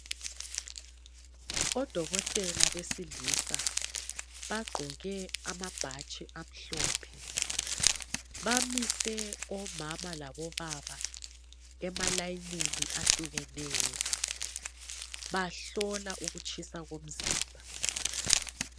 Odokotela besilisa bagqoke amabhatshi amhlophe. Bamise omama labobaba emalayinini ahlukeneyo. Bahlola ukutshisa komzimba.